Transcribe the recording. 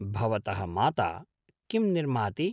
भवतः माता किं निर्माति?